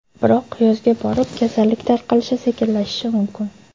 Biroq yozga borib, kasallik tarqalishi sekinlashishi mumkin.